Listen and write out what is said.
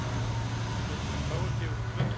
Leikmaður KR gefur út plötu